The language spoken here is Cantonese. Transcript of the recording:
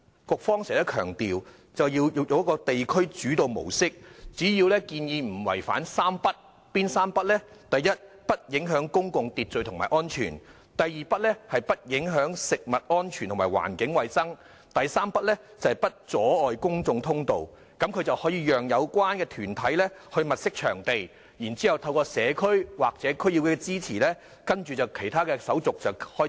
局方經常強調要用地區主導模式，只要墟市建議不違反"三不"：不影響公共秩序和安全；不影響食物安全和環境衞生；不阻礙公眾通道，便會讓有關團體物色場地，然後透過社區或區議會的支持，開展其他手續。